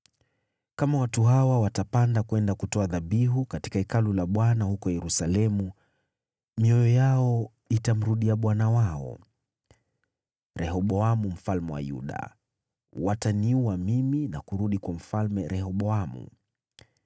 Kama watu hawa watapanda kwenda kutoa dhabihu katika Hekalu la Bwana huko Yerusalemu, mioyo yao itamrudia bwana wao, Rehoboamu mfalme wa Yuda. Wataniua mimi na kurudi kwa Mfalme Rehoboamu.”